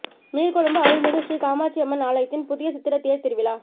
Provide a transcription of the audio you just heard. நீர்கொழும்பு அருள்மிகு ஸ்ரீ காமாட்சிஅம்மன் ஆலயத்தின் புதிய சித்திரத் தேர் திருவிழா